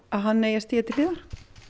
að hann eigi að stíga til hliðar